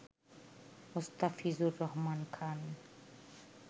Mostafizur Rahman Khan